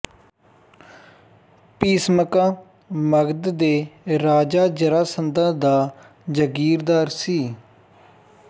ਭੀਸਮਕਾ ਮਗਧ ਦੇ ਰਾਜਾ ਜਰਾਸੰਧਾ ਦਾ ਜਾਗੀਰਦਾਰ ਸੀ